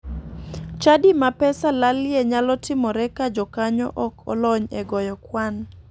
Chadi ma pesa lalie nyalo timore ka jokanyo ok olony e goyo kwan.